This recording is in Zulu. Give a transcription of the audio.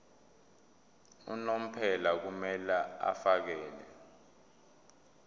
unomphela kumele afakele